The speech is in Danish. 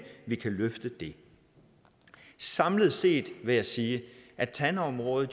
vi kan løfte det samlet set vil jeg sige at tandområdet